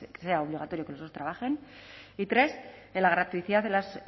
sea obligatorio que los dos trabajen y tres en la gratuidad de las